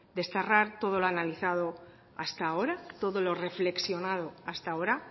desterrar todo lo analizado hasta ahora todo lo reflexionado hasta ahora